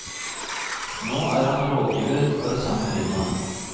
Nå er han rådgiver for det samme firmaet.